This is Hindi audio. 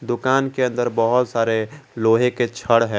दुकान के अंदर बहोत सारे लोहे के छड़ है।